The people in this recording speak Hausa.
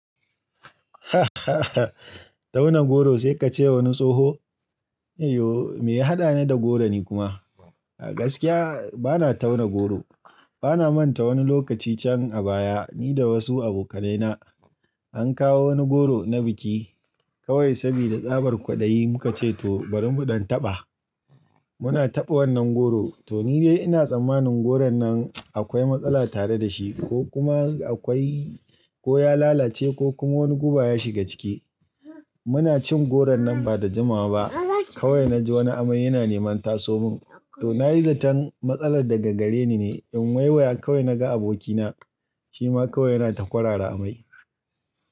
Tauna goro sai ka ce wani tsoho? Eh yo, me ya haɗani da goro ni kuma? A gaskiya bana tauna goro. Bana manta wani lokaci can a baya ni da wasu abokanaina an kawo wani goro na biki. Kawai saboda tsabar kwaɗayi muka ce to bari mu ɗan taɓa. Muna taɓa wannan goro, to ni dai ina tsammanin goron nan akwai matsala tare da shi ko kuma akwai-- ko ya lalace ko kuma wani guba ya shiga ciki. Muna cin goron nan ba da jimawa ba, kawai na ji wani amai yana neman tasomin. To na yi zaton matsalar daga gare ni ne, in wai wai kawai na ga abokina, shi ma kawai yana ta kwarara amai.